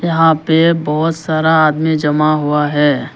यहां पे बहोत सारा आदमी जमा हुआ है।